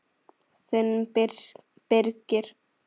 Þinn Birgir.